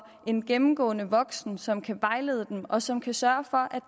en gennemgående voksen som kan vejlede dem og som kan sørge for